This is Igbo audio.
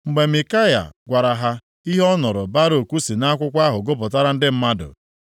Mgbe Mikaya gwara ha ihe ọ nụrụ Baruk si nʼakwụkwọ ahụ gụpụtara ndị mmadụ,